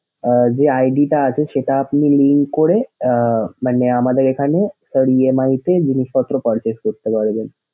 আহ যে ID টা আছে সেটা আপনি ই করে আহ মানে আমাদের এখানে EMI তে জিনিসপত্র purchase করতে পারবেন।